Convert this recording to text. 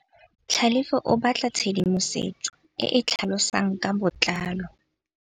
Tlhalefô o batla tshedimosetsô e e tlhalosang ka botlalô.